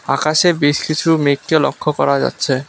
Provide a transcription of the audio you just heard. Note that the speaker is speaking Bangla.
আকাশে বেশ কিসু মেঘকে লক্ষ করা যাচ্ছে।